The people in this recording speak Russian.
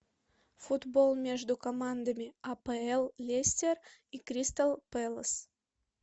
футбол между командами апл лестер и кристал пэлас